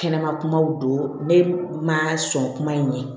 Kɛnɛma kumaw don ne ma sɔn kuma in ye